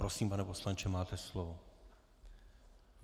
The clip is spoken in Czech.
Prosím, pane poslanče, máte slovo.